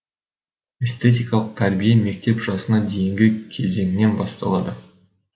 эстетикалық тәрбие мектеп жасына дейінгі кезеңнен басталады